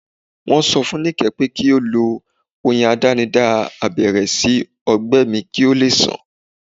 Wọ́n sọ fún Nike pé kí ó lo oyin àdánidá abẹ́rẹ́ sí ọgbẹ́ mi kí ó lè sàn